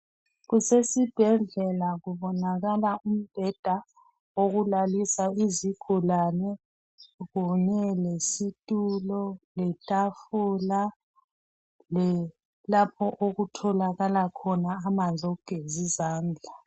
Kusesibhedlela kubonakala umbheda okulalisa izigulani kunye lesitulo letafula lapho okutholakala khona amanzi awokugezi izandla